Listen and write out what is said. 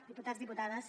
diputats i diputades